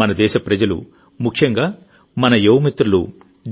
మన దేశప్రజలుముఖ్యంగా మన యువ మిత్రులు